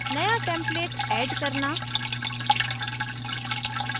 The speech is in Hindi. new template add करना